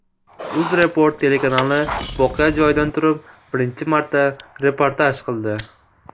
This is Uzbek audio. UzReport telekanali voqea joyidan turib birinchi marta reportaj qildi.